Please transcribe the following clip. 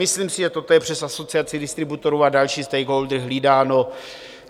Myslím si, že toto je přes asociaci distributorů a další stakeholdery hlídáno.